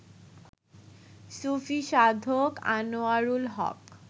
সূফী সাধক আনোয়ারুল হক